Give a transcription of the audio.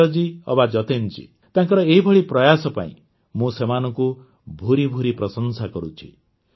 ସଂଜୟ ଜୀ ଅବା ଯତୀନ୍ ଜୀ ତାଙ୍କର ଏହିଭଳି ପ୍ରୟାସ ପାଇଁ ମୁଁ ସେମାନଙ୍କୁ ଭୂରି ଭୂରି ପ୍ରଶଂସା କରୁଛି